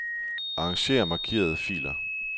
Arranger markerede filer.